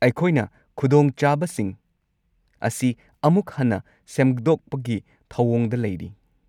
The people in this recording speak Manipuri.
ꯑꯩꯈꯣꯏꯅ ꯈꯨꯗꯣꯡꯆꯥꯕꯁꯤꯡ ꯑꯁꯤ ꯑꯃꯨꯛ ꯍꯟꯅ ꯁꯦꯝꯗꯣꯛꯄꯒꯤ ꯊꯧꯑꯣꯡꯗ ꯂꯩꯔꯤ꯫